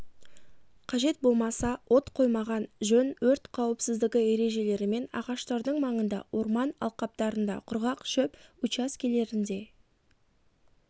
қажет болмаса от қоймаған жөн өрт қауіпсіздігі ережелерімен ағаштардың маңында орман алқаптарында құрғақ шөп учаскелерінде